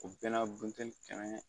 O bɛɛ n'a butɛli kɛnɛ